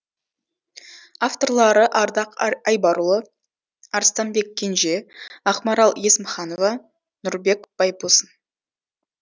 авторлары ардақ айбарұлы арыстанбек кенже ақмарал есімханова нұрбек байбосын